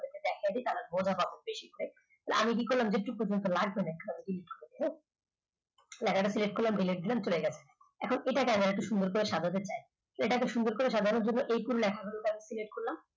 যেটুকু আপনাদের লাগবে না delete করে দিই এটা একটা press করলাম delete দিলাম চলে গেছে এটা data টাকে আমরা সুন্দর করে সাজাতে চাই data কে সুন্দরভাবে সাজানোর জন্য এই লেখাগুলো আমি select করলাম